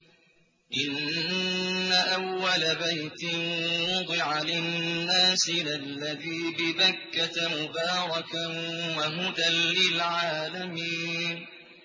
إِنَّ أَوَّلَ بَيْتٍ وُضِعَ لِلنَّاسِ لَلَّذِي بِبَكَّةَ مُبَارَكًا وَهُدًى لِّلْعَالَمِينَ